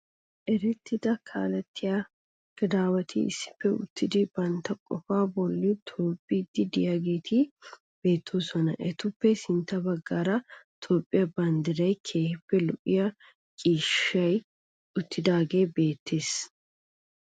Erettida kaalettiya gadaawati issippe uttidi banitta qofaa bolli tobbiiddi de'iyageeti beettoosona. Etappe sintta baggaara Toophphiya banddirayinne keehippe lo'iya ciishshayi uttidaagee beettees.